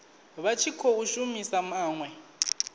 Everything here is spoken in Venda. vha tshi khou shumisa maḽe